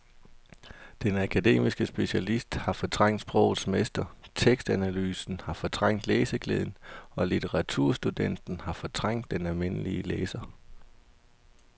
Den akademiske specialist har fortrængt sprogets mester, tekstanalysen har fortrængt læseglæden og litteraturstudenten har fortrængt den almindelige læser.